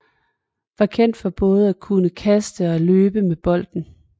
Var kendt for både at kunne kaste og løbe med bolden